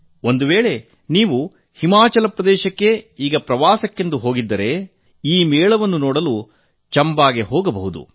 ಒಂದು ವೇಳೆ ನೀವು ಹಿಮಾಚಲ ಪ್ರದೇಶಕ್ಕೆ ಈಗ ಪ್ರವಾಸಕ್ಕೆಂದು ಹೋಗಿದ್ದರೆ ಈ ಮೇಳವನ್ನು ನೋಡಲು ಚಂಬಾಗೆ ಹೋಗಬಹುದು